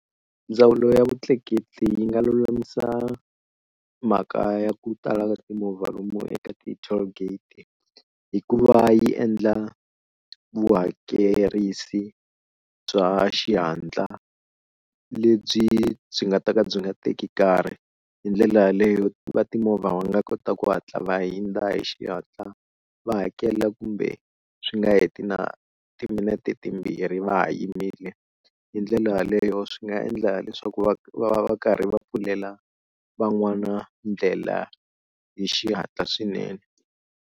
Ndzawulo ya vutleketli yi nga lulamisa mhaka ya ku tala ka timovha lomu eka ti-toll gate hi ku va yi endla vuhakerisi bya xihatla lebyi byi nga ta ka byi nga teki nkarhi hi ndlela yaleyo va timovha va nga kota ku hatla va hundza hi xihatla va hakela kumbe swi nga heti na timinete timbirhi va ha yimile hi ndlela yaleyo swi nga endla leswaku va va va karhi va pfulela van'wana ndlela hi xihatla swinene.